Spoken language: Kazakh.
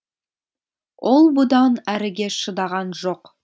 ол бұдан әріге шыдаған жоқ